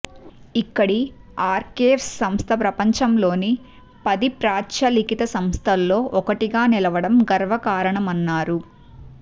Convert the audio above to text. ఇక్కడి ఆర్కైవ్స్ సంస్థ ప్రపంచంలోని పది ప్రాచ్య లిఖిత సంస్థల్లో ఒకటిగా నిలువడం గర్వకారణమన్నారు